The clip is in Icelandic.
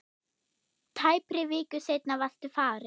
Tæpri viku seinna varstu farinn.